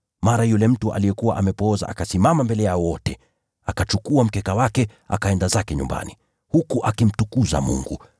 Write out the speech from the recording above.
Mara yule mtu aliyekuwa amepooza akasimama mbele yao wote, akachukua mkeka wake, akaenda zake nyumbani, huku akimtukuza Mungu.